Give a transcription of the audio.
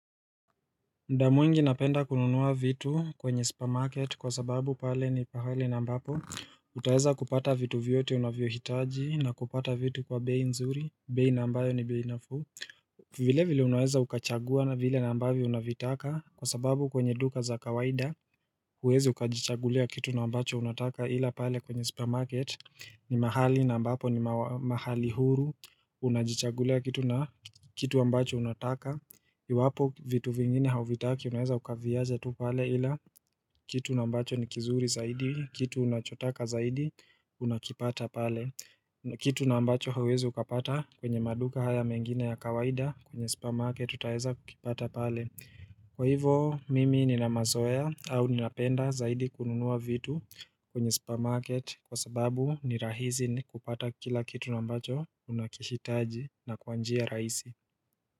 Muda mwingi napenda kununua vitu kwenye supa market kwa sababu pale ni pahali na ambapo utaweza kupata vitu vyote unavyohitaji na kupata vitu kwa bei nzuri, bei na ambayo ni bei nafuu vile vile unaweza ukachagua na vile na ambavyo unavitaka kwa sababu kwenye duka za kawaida huwezi ukajichagulia kitu na ambacho unataka ila pale kwenye supa market ni mahali na ambapo ni mahali huru Unajichagulia kitu na kitu ambacho unataka Iwapo vitu vingine hauvitaki unaeza ukaviacha tu pale ila kitu ambacho ni kizuri zaidi Kitu unachotaka zaidi unakipata pale Kitu na ambacho hauwezi ukapata kwenye maduka haya mengine ya kawaida kwenye supa market utaweza kukipata pale Kwa hivo mimi nina mazoea au ninapenda zaidi kununua vitu kwenye supa market Kwa sababu ni rahisi ni kupata kila kitu na ambacho unakihitaji na kwa njia rahisi.